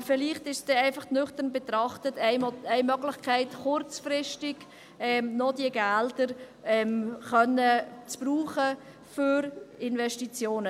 Aber vielleicht ist es nüchtern betrachtet eine Möglichkeit, diese Gelder kurzfristig noch für Investitionen brauchen zu können.